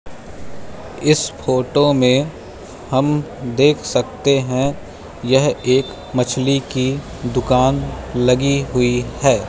इस फोटो में हम देख सकते हैं यह एक मछली की दुकान लगी हुई है।